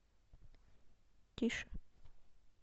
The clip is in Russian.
тише